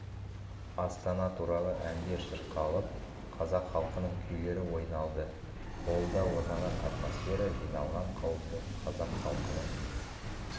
астана туралы әндер шырқалып қазақ халқының күйлері ойналды холлда орнаған атмосфера жиналған қауымды қазақ халқының